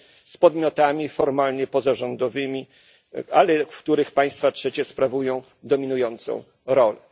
z podmiotami formalnie pozarządowymi, ale w których państwa trzecie sprawują dominującą rolę.